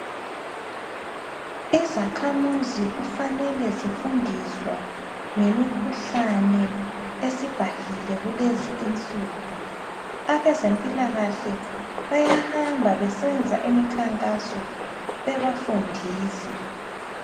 Izakhamuzi kufanele zifundiswe ngemikhuhlane esibhahile kulezi insuku , abeze mpilakahle bayahamba besenza imikhankaso bebafundisa.